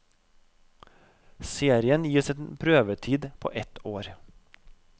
Serien gis en prøvetid på ett år.